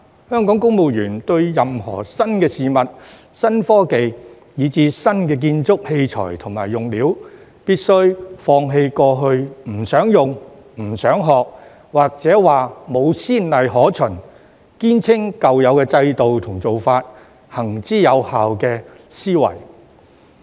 香港公務員對於任何新事物、新科技，以至新建築器材和用料，必須放棄過去不想用、不想學，或說沒先例可循，堅稱舊有制度和做法行之有效的思維。